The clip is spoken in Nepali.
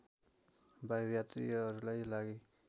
वायु यात्रियहरूलाई लागि